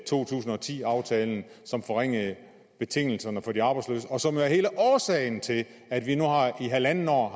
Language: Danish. to tusind og ti aftalen som forringede betingelserne for de arbejdsløse og som jo er hele årsagen til at vi nu i halvandet år